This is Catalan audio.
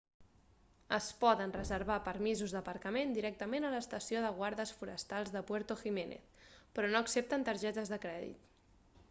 es poden reservar permisos d'aparcament directament a l'estació de guardes forestals de puerto jiménez però no accepten targetes de crèdit